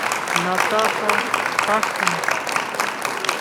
натаха кашина